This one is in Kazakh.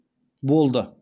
болды